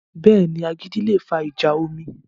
Bẹ́ẹ̀ni, agídí le fa ìjà omi